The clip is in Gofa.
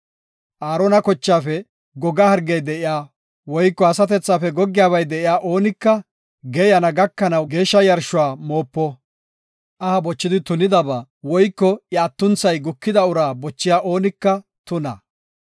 “Aarona kochaafe goga hargey de7iya, woyko asatethafe goggiyabay de7iya oonika geeyana gakanaw geeshsha yarshuwa moopo. Aha bochidi tunidaba woyko iya atunthay gukida uraa bochiya oonika tuna.